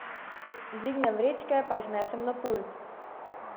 Dvignem vrečke pa jih nesem na pult.